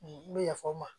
N bɛ yafa o ma